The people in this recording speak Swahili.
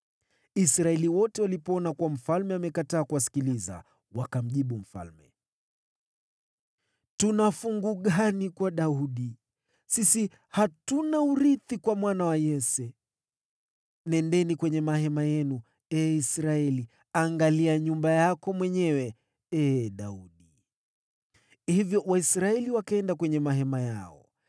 Israeli wote walipoona kuwa mfalme amekataa kuwasikiliza, wakamjibu mfalme: “Tuna fungu gani kwa Daudi? Sisi hatuna urithi kwa mwana wa Yese. Nendeni kwenye mahema yenu, ee Israeli, angalia nyumba yako mwenyewe, ee Daudi!” Hivyo Waisraeli wakaenda kwenye mahema yao.